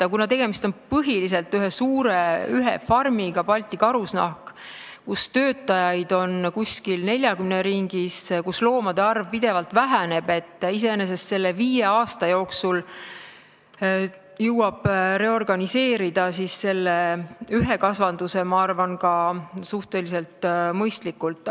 Aga kuna põhiliselt on tegemist ühe suure farmiga, Balti Karusnaha farmiga, kus töötajaid on 40 ringis ja loomade arv pidevalt väheneb, siis selle viie aasta jooksul jõuab selle ühe kasvanduse, ma arvan, suhteliselt mõistlikult reorganiseerida.